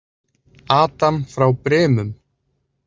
Adam frá Brimum.